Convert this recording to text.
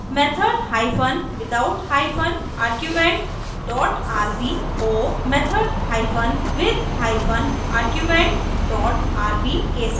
method hypen without hypen arguments dot rb को method hypen with hypen arguments dot rb के साथ बदलें